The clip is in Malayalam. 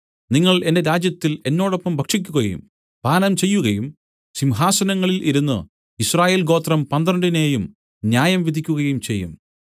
നിങ്ങൾ എന്റെ രാജ്യത്തിൽ എന്നോടൊപ്പം ഭക്ഷിക്കുകയും പാനം ചെയ്യുകയും സിംഹാസനങ്ങളിൽ ഇരുന്നു യിസ്രായേൽ ഗോത്രം പന്ത്രണ്ടിനേയും ന്യായം വിധിക്കുകയും ചെയ്യും